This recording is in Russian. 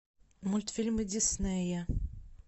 мультфильмы диснея